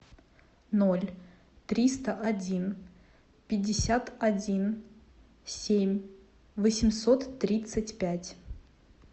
ноль триста один пятьдесят один семь восемьсот тридцать пять